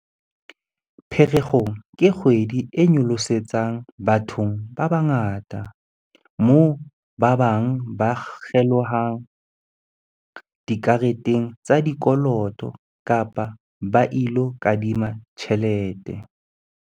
Pherekgong ke kgwedi e nyolosetsang bathong ba bangata, moo ba bang ba kgelohelang dikareteng tsa dikoloto kapa ba ilo kadima tjhelete.